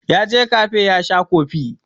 Ya je kafe ya sha kofi.